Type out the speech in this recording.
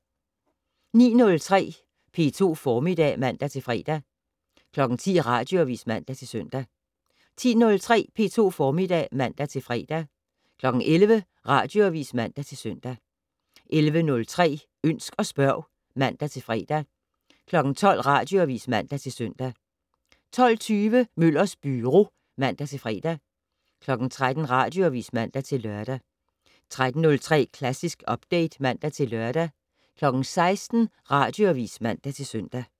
09:03: P2 Formiddag (man-fre) 10:00: Radioavis (man-søn) 10:03: P2 Formiddag (man-fre) 11:00: Radioavis (man-søn) 11:03: Ønsk og spørg (man-fre) 12:00: Radioavis (man-søn) 12:20: Møllers Byro (man-fre) 13:00: Radioavis (man-lør) 13:03: Klassisk Update (man-lør) 16:00: Radioavis (man-søn)